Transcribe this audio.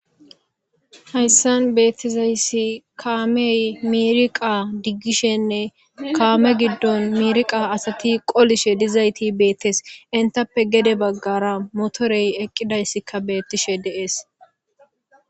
hayssan beettizayssi kaamey miriqa diggishenne kaame giddon miriqa asati qolishe dizayti beettes intappe gede baggara motorey eqqidayssikka beettishe deees